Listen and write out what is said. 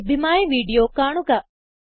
ഇവിടെ ലഭ്യമായ വീഡിയോ കാണുക